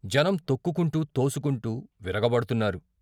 జనం తొక్కుకుంటూ, తోసుకుంటూ విరగబడ్తున్నారు.